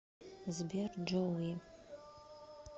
сбер джоуи